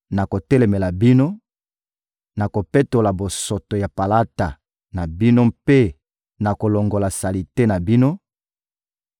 Nakotelemela bino, nakopetola bosoto ya palata na bino mpe nakolongola salite na bino,